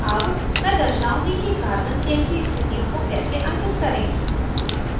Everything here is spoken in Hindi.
अब chain दर्शाउंगी कि carbon chain की स्थितियों को कैसे अंकित करें